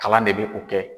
Kalan de bɛ o kɛ